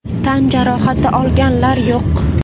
Tan jarohati olganlar yo‘q.